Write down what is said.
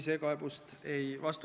Head kolleegid!